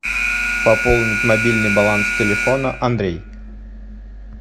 пополнить мобильный баланс телефона андрей